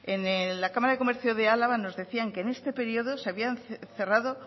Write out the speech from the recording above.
en la cámara de comercio de álava nos decían que en este periodo se habían cerrado